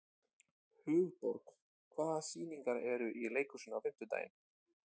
Hugborg, hvaða sýningar eru í leikhúsinu á fimmtudaginn?